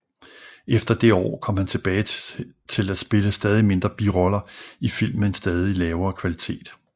Efter det år kom han tilbage til at spille stadig mindre biroller i film med en stadig lavere kvalitet